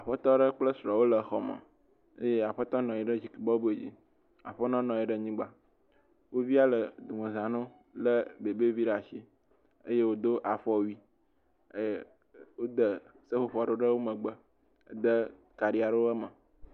Aƒetɔ aɖe kple srɔ̃ wole xɔ me, eye aƒetɔ nɔ anyi ɖe zikpui bɔbɔe dzi, aƒenɔ nɔ anyi ɖe anyigba, wo via le domeza ne wo, lé bebevi ɖe asi eye wòdo afɔwui, e wode seƒoƒo ɖe wo megbe, de kaɖi aɖewo me.